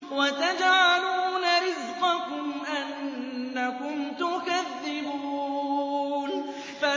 وَتَجْعَلُونَ رِزْقَكُمْ أَنَّكُمْ تُكَذِّبُونَ